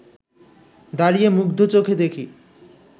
দাঁড়িয়ে মুগ্ধ চোখে দেখি